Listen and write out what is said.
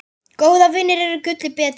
Góðir vinir eru gulli betri.